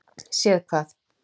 Séð hvað?